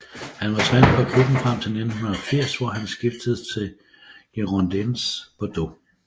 Han var træner for klubben frem til 1980 hvor han skiftede til Girondins Bordeaux